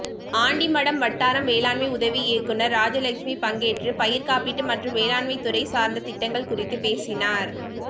ஆண்டிமடம் வட்டார வேளாண்மை உதவி இயக்குனர் ராஐலட்சுமி பங்கேற்று பயிர் காப்பீடு மற்றும் வோண்மைத்துறை சார்ந்த திட்டங்கள் குறித்து பேசினார்